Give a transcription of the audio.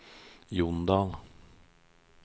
Jondal